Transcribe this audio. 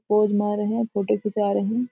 Pose मार रहे है और फोटो खींचा रहे है।